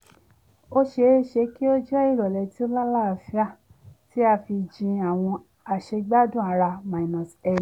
ó ṣeéṣe kí ó jẹ́ ìrọ̀lẹ́ tí ó lálàáfíà tí a fi jin àwọn àṣegbádùn ara-ẹni